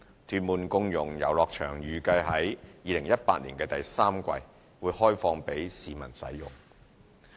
屯門共融遊樂場預計可於2018年第三季開放供市民使用。